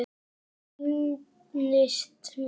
Það sýnist mér.